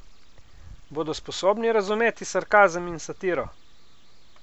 Bodo sposobni razumeti sarkazem in satiro?